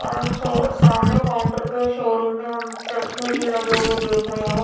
और हम शो सामने काउंटर पे शोरूम में हम चश्मे भी लगे हुए देख रहे है।